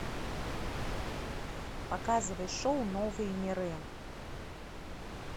показывай шоу новые миры